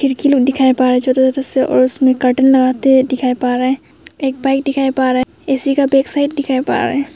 खिड़की लोग दिखा पा रहा है ज्यादा से ज्यादा और उसमें कर्टेन लगाते दिखाए पा रहा है एक पाई दिखाए पा रहा है ए_सी का बैकसाइड दिखाए पा रहा है।